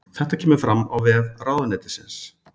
Þetta kemur fram á vef ráðuneytisins